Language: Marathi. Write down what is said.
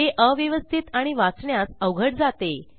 हे अव्यवस्थित आणि वाचण्यास अवघड जाते